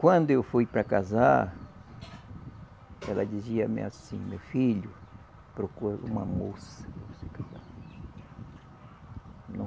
Quando eu fui para casar, ela dizia-me assim, meu filho, procure uma moça para você casar.